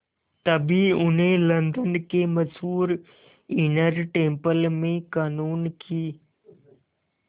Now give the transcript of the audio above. तभी उन्हें लंदन के मशहूर इनर टेम्पल में क़ानून की